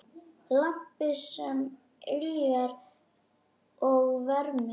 Lampi sem yljar og vermir.